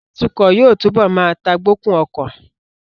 Atukọ̀ yóò túbọ̀ má tagbokun ọkọ